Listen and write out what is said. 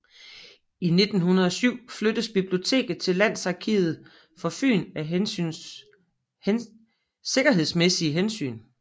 I 1907 flyttedes biblioteket til Landsarkivet for Fyn af sikkerhedsmæssige hensyn